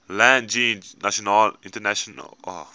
land jeens internasionale